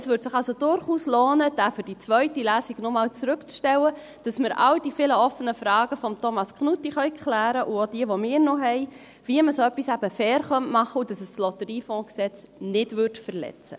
Es würde sich also durchaus lohnen, den Artikel für die zweite Lesung noch einmal zurückzustellen, sodass wir alle offenen Fragen von Thomas Knutti klären können – auch die, welche wir noch haben, wie man so etwas eben fair machen könnte, und so, dass es das LotG nicht verletzt.